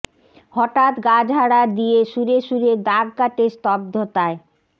হঠাৎ গা ঝাড়া দিয়ে সুরে সুরে দাগ কাটে স্তব্ধতায়